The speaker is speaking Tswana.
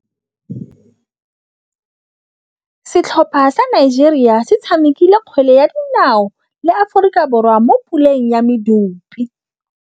Setlhopha sa Nigeria se tshamekile kgwele ya dinaô le Aforika Borwa mo puleng ya medupe.